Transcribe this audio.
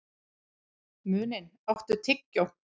Muninn, áttu tyggjó?